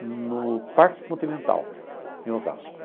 no Parque Continental, em Osasco.